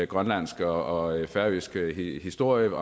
grønlandsk og færøsk historie